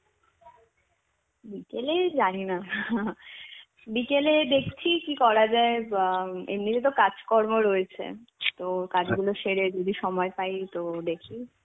বিকেলেই জানি না বিকেলে দেখছি কি করা যায় বাহঃ এমনিতে তো কাজকর্ম রয়েছে তো কাজগুলো সেরে যদি সময় পাই তো দেখি.